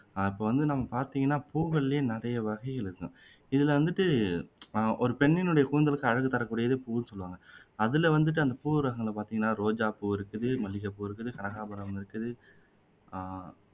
அஹ் இப்போ வந்து நம்ம பாத்தீங்கன்னா புக்கள்லயே நிறைய வகை இருக்கும் இதுல வந்துட்டு அஹ் ஒரு பெண்ணினுடைய கூந்தலுக்கு அழகு தரக்கூடியது பூவுன்னு சொல்லுவாங்க அதுல வந்துட்டு அந்த பூ ரகங்களை பாத்தீங்கன்னா ரோஜா பூ இருக்குது மல்லிகை பூ இருக்குது கனகாம்பரம் இருக்குது அஹ்